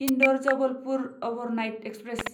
Indore Jabalpur overnight express